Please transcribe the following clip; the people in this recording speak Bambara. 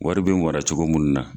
Wari bɛ wara cogo munnu na.